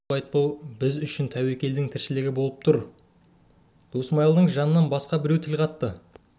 әй шырағым қайту-қайтпау біз үшін тәуекелдің тіршілігі болып тұр деп досмайылдың жанынан басқа біреуі тіл қатты